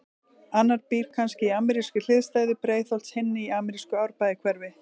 Annar býr kannski í amerískri hliðstæðu Breiðholts, hinn í amerísku Árbæjarhverfi.